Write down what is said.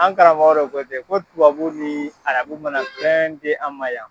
An karamɔgɔ dɔ ko ten ko tubabu ni arabu mana fɛn di an ma yan.